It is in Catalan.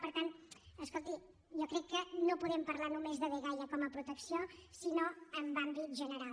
per tant escolti jo crec que no podem parlar només de dgaia com a protecció sinó en àmbit general